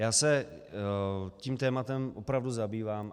Já se tím tématem opravdu zabývám.